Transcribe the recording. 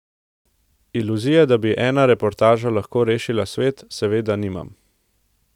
Iluzije, da bi ena reportaža lahko rešila svet, seveda nimam.